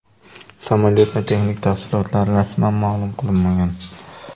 Samolyotning texnik tafsilotlari rasman ma’lum qilinmagan.